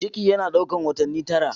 Ciki yana ɗaukar watanni tara.